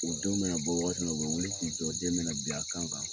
U denw mɛna bɔ wagati min na, o bɛ wuli k'i jɔ, den bɛna bin a kan kan